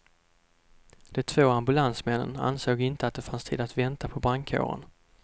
De två ambulansmännen ansåg inte att det fanns tid att vänta på brandkåren.